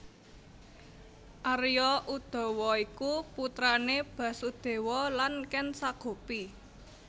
Arya Udawa iku putrane Basudewa lan Ken Sagopi